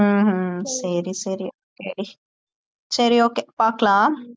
ஹம் ஹம் சரி சரி okay டி சரி okay பாக்கலாம்